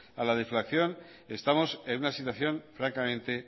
a la deflación estamos en una situación francamente